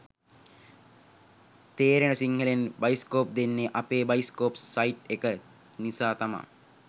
තේරෙන සිංහලෙන් බයිස්කෝප් දෙන්නේ අපේ බයිස්කෝප් සයිට් එක නිසා තමා